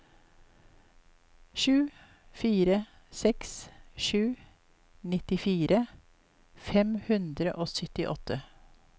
sju fire seks sju nittifire fem hundre og syttiåtte